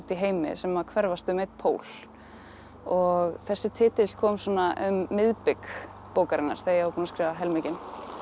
í heimi sem að hverfast um einn pól og þessi titill kom svona um miðbik bókarinnar þegar ég var búin að skrifa helminginn